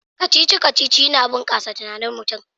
Kacici-kacici yana bunkasa tunanin mutum